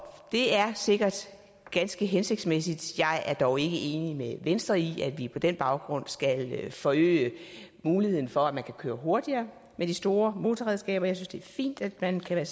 det er sikkert ganske hensigtsmæssigt jeg er dog ikke enig med venstre i at vi på den baggrund skal forøge muligheden for at man kan køre hurtigere med de store motorredskaber jeg synes det er fint at man kan